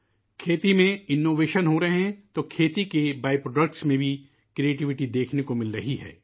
کھیتی میں جدت طرازی ہو رہی ہے تو کھیتی کی پیداوار میں بھی تخلیقی پہلو دیکھنے کو مل رہا ہے